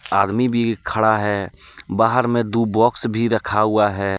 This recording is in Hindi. आदमी भी खड़ा है बाहर में दु बॉक्स भी रखा हुआ है।